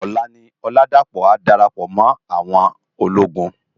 Òlá ni Oladapo á dárápò mò áwòn ólógùn.